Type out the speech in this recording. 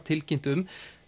tilkynnt um